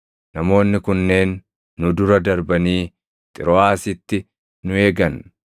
Namoonni kunneen nu dura darbanii Xirooʼaasitti nu eegan.